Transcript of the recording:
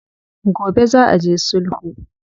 Gobe za a je sulhu.